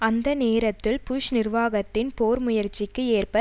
அதே நேரத்தில் புஷ் நிர்வாகத்தின் போர் முயற்சிக்கு ஏற்ப